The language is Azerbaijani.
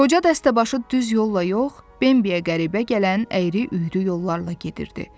Qoca dəstəbaşı düz yolla yox, Bembiə qəribə gələn əyri-üyrü yollarla gedirdi.